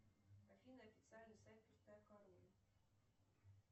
афина официальный сайт пустая корона